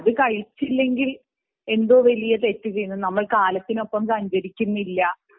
അത് കഴിച്ചില്ലെങ്കിൽ എന്തോ നമ്മൾ തെറ്റ് ചെയ്യുന്നു നമ്മൾ കാലത്തിനൊപ്പം സഞ്ചരിക്കുന്നില്ല